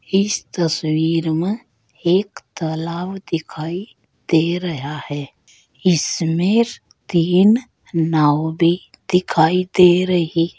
इस तस्वीर में एक तालाब दिखाई दे रहा है इसमें तीन नाव भी दिखाई दे रही है।